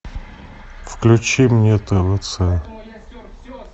включи мне твц